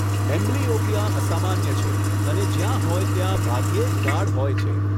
Amblyopia અસામાન્ય છે અને જ્યાં હોય ત્યાં ભાગ્યે જ ગાઢ હોય છે.